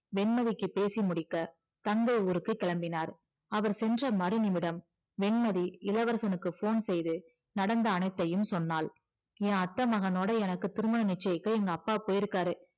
வெண்மதிக்கு பேசி முடிக்க தந்தை ஊருக்கு கிளம்பினார் அவர் சென்ற மறுநிமிடம் வெண்மதி இளவரசனுக்கு phone செய்து நடந்த அனைத்தையும் சொன்னாள் என் அத்தை மகனோட எனக்கு திருமணம் நிச்சயிக்க எங்க அப்பா போயிருக்காரு